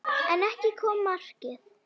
En ekki kom markið.